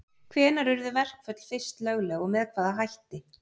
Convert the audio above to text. Hvenær urðu verkföll fyrst lögleg og með hvaða hætti?